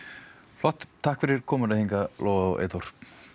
flott takk fyrir komuna hingað Lóa og Eyþór